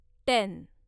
ten